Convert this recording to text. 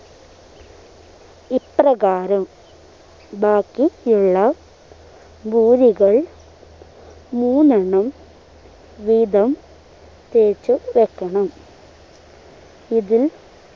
ഇപ്രകാരം ബാക്കി യുള്ള പൂരികൾ മൂന്നെണ്ണണം വീതം തേച്ച് വെക്കണം ഇതിൽ